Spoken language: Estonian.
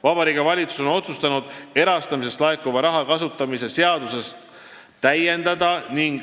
Vabariigi Valitsus on otsustanud erastamisest laekuva raha kasutamise seadust täiendada.